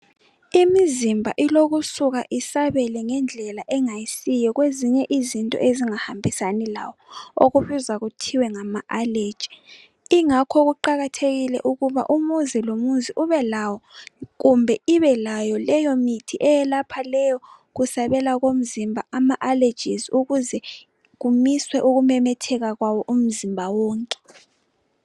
Imizimba ilokusuka isabele ngedlela engasiyo kwezinye izinto ezingahambisani lawo okubizwa kuthiwa ngama allergy ingakho kuqakathekile ukuba umuzi lomuzi ubelawo kumbe ibelayo leyo mithi eyelapha leyo kusabelakomzimba ama allergies ukuze kumiswe ukumemetheka kwawo umzimba wonke.